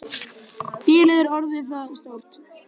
Bilið er orðið það stórt.